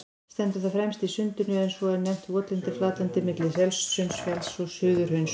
Stendur það fremst í Sundinu, en svo er nefnt votlent flatlendi milli Selsundsfjalls og Suðurhrauns.